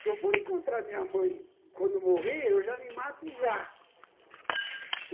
Se eu for encontrar minha mãe quando morrer, eu já me mato já.